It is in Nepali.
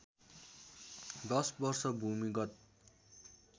दश वर्ष भूमिगत